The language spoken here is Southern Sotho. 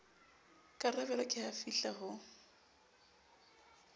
karabelo ke ha afihla ho